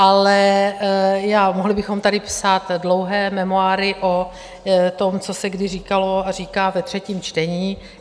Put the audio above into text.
Ale mohli bychom tady psát dlouhé memoáry o tom, co se kdy říkalo a říká ve třetím čtení.